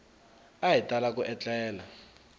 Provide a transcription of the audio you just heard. a hi tala ku etlela